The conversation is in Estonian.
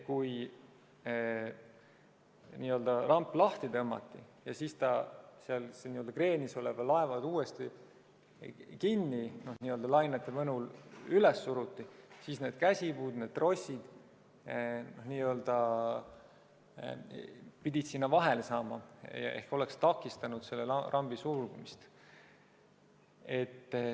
Kui ramp lahti tõmmati ja siis see seal kreenis oleval laeval uuesti lainete mõjul üles suruti, siis need käsipuud ja trossid pidid sinna vahele jääma ehk need oleks takistanud rambi sulgumist.